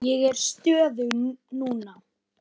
Ég er stöðug núna.